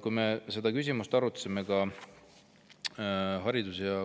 Kui me seda küsimust